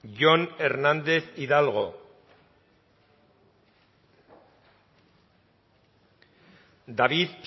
jon hernández hidalgo david